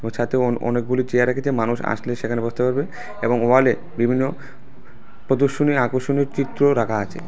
সাথে অন-অনেকগুলি চেয়ার রেখেছে মানুষ আসলে সেখানে বসতে পারবে এবং ওয়াল -এ বিভিন্ন প্রদর্শনীর আকর্ষণীয় চিত্র রাখা আছে।